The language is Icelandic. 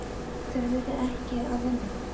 Þurfið þið ekkert að vinna?